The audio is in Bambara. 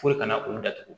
Fo ka na olu datugu